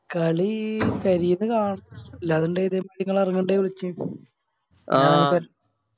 കളി പേരെന്ന് കാണണം